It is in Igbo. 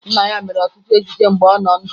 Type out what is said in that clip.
Nna ya mere ọtụtụ ejije mgbe ọ nọ ndụ